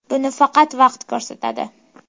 Buni faqat vaqt ko‘rsatadi.